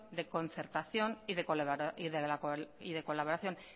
de concertación y de colaboración